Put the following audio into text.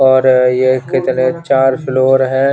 और ये कितने चार फ्लोर है।